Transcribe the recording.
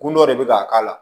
Kun dɔ de bɛ ka k'a la